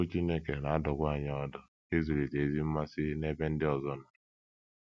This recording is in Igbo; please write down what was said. Okwu Chineke na - adụkwa anyị ọdụ ịzụlite ezi mmasị n’ebe ndị ọzọ nọ.